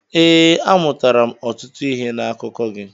Ee, amụtara ọtụtụ ihe n'akụkọ gị.